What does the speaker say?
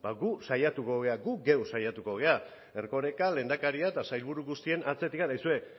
gu saiatuko gara gu geu saiatuko gara erkoreka lehendakaria eta sailburu guztien atzetik aizue